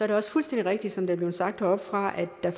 det også fuldstændig rigtigt som det er blevet sagt heroppefra at der